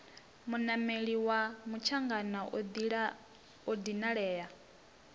munameli wa mutshangana a dinalea